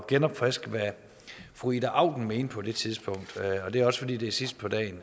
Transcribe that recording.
genopfriske hvad fru ida auken mente på det tidspunkt og det er også fordi det er sidst på dagen